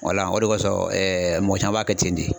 Wala o de kosɔn ɛɛ mɔgɔ caman b'a kɛ ten de